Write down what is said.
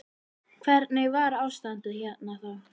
Hvernig var ástandið hérna þá.